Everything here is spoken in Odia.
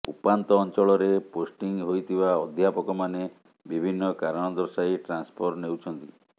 ଉପାନ୍ତ ଅଂଚଳରେ ପୋଷ୍ଟିଂ ହୋଇଥିବା ଅଧ୍ୟାପକମାନେ ବିଭିନ୍ନ କାରଣ ଦର୍ଶାଇ ଟ୍ରାନ୍ସଫର ନେଉଛନ୍ତି